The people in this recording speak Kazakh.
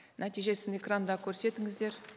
нәтижесін экранда көрсетіңіздер